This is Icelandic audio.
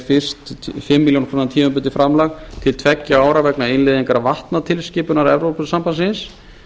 fyrst fimm milljónir króna tímabundið framlag til tveggja ára vegna innleiðingar vatnatilskipunar evrópusambandsins